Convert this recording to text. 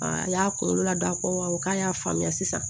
a y'a kunkolo la da ko awɔ k'a y'a faamuya sisan